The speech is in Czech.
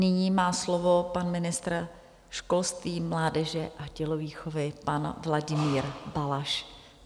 Nyní má slovo pan ministr školství, mládeže a tělovýchovy, pan Vladimír Balaš.